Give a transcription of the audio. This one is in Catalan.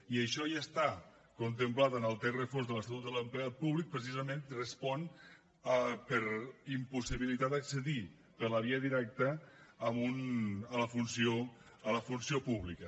i això ja està contemplat en el text refós de l’estatut de l’empleat públic precisament respon per impossibilitat d’accedir per la via directa a la funció pública